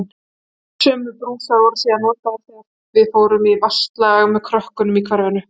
Sömu brúsar voru síðan notaðir þegar við fórum í vatnsslag með krökkunum í hverfinu.